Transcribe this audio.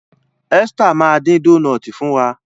Esther ma din Dónáátì fún wá.